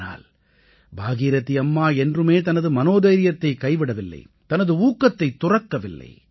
ஆனால் பாகீரதீ அம்மா என்றுமே தனது மனோதைரியத்தைக் கைவிடவில்லை தனது ஊக்கத்தைத் துறக்கவில்லை